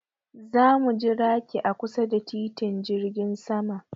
Za mu jiraki a kusa da titin jirgin sama.